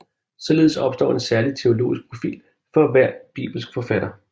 Således opstår en særlig teologisk profil for hver bibelsk forfatter